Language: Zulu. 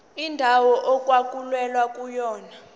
indawo okwakulwelwa kuyona